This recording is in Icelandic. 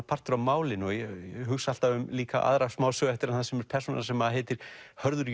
partur af málinu ég hugsa alltaf líka um aðra smásögu eftir hann sem er persóna sem heitir Hörður